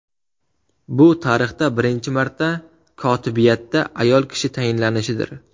Bu tarixda birinchi marta kotibiyatda ayol kishi tayinlanishidir.